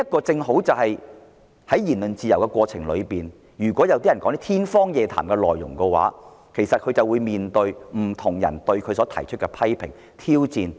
在享有言論自由的社會中，如有人說些天方夜譚的內容時，會面對來自不同人的批評和挑戰。